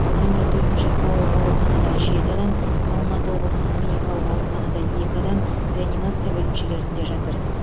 нөмір төртінші қалалық ауруханада жеті адам алматы облыстық клиникалық ауруханада екі адам реанимация бөлімшелерінде жатыр